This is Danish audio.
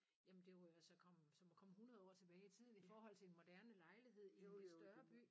Jamen det var jo at så komme som at komme 100 år tilbage i tiden i forhold til en moderne lejlighed i en lidt større by